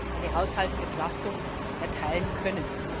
eine Haushaltsentlastung erteilen können.